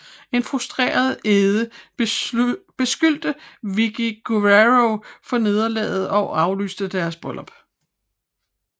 En frustreret Edge beskyldte Vickie Guerrero for nederlaget og aflyste deres bryllup